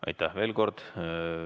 Aitäh!